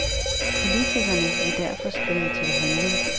Politikerne, vil derfor skride til handling.